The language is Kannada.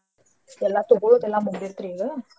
ಎಲ್ಲಾ ತಗೊಳೋದೆಲ್ಲಾ ಮುಗದೆತ್ರಿ ಈಗ.